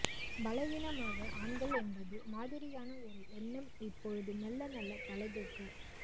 பலவீனமாக ஆண்கள் என்பது மாதிரியான ஒரு எண்ணம் இப்பொழுது மெல்லமெல்ல தலைதூக்க